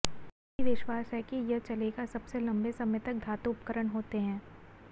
कई विश्वास है कि यह चलेगा सबसे लंबे समय तक धातु उपकरण होते हैं